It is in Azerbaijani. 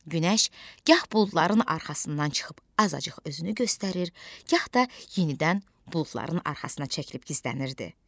Günəş gah buludların arxasından çıxıb azacıq özünü göstərir, gah da yenidən buludların arxasına çəkilib gizlənirdi.